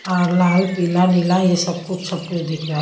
और लाल पीला नीला ये सब कुछ सब कुछ दिख रहा है।